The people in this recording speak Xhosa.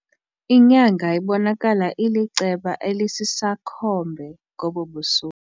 Inyanga ibonakala iliceba elisisakhombe ngobu busuku.